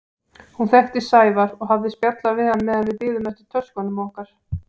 Hún þekkti Sævar og hafði spjallað við hann meðan við biðum eftir töskunum okkar.